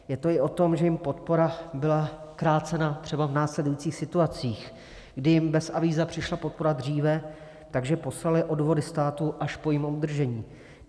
Je to i o tom, že jim podpora byla krácena třeba v následujících situacích, kdy jim bez avíza přišla podpora dříve, takže poslaly odvody státu až po jejím obdržení.